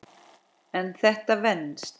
En þetta venst.